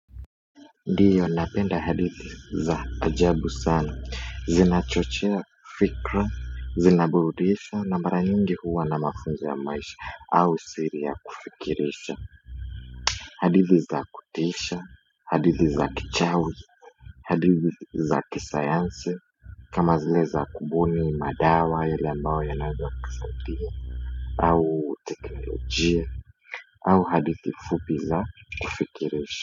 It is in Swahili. Ndiyo, napenda hadithi za ajabu sana, zinachochea fikra, zinaburudisha na mara nyingi huwa na mafunzo ya maisha au siri ya kufikirisha hadithi za kutisha, hadithi za kichawi, hadithi za kisayansi, kama zile za kubuni madawa yale ambayo yanaweza kusaidia, au teknolojia, au hadithi fupi za kufikirisha.